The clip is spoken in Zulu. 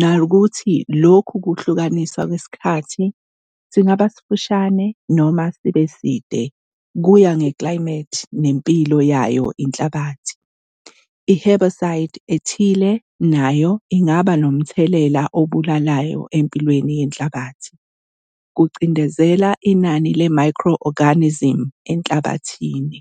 nokuthi lokhu kuhlukaniswa kwesikhathi singaba sifushane noma sibe side kuya ngeklayimethi nempilo yayo enhlabathini. I-herbicide ethile nakho kungaba nomthelela obulalayo empilweni yenhlabathi, kucindezela inani le-micro-organism enhlabathini.